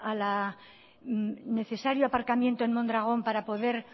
stop al necesario aparcamiento en mondragón para poder